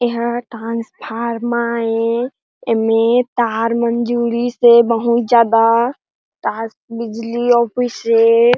एहो ट्रांसफॉर्मा ए एमे तार मन जुड़िस हे बहुत ज़्यादा टास बिजली ऑफिस ए --